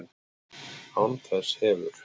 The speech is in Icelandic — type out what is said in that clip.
Án þess hefur